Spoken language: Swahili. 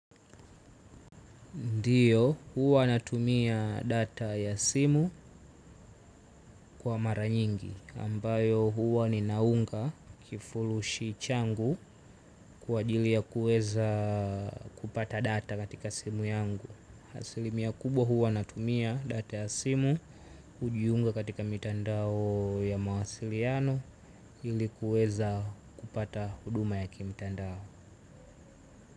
Ndio, huwa natumia data ya simu kwa mara nyingi, ambayo huwa ninaunga kifurushi changu kwa ajili ya kuweza kupata data katika simu yangu. Asilimia kubwa huwa natumia data ya simu kujiunga katika mitandao ya mawasiliano ili kuweza kupata huduma ya kimtandao.